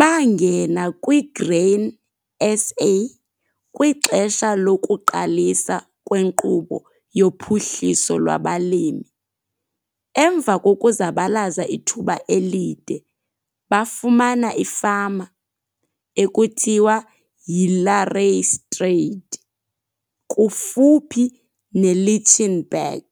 Bangena kwiGrain SA kwixesha lokuqalisa kweNkqubo yoPhuhliso lwabaLimi. Emva kokuzabalaza ithuba elide bafumana ifama, ekuthiwa yiLareystryd, kufuphi neLichtenburg